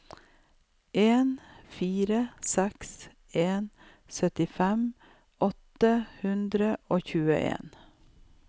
en fire seks en syttifem åtte hundre og tjueen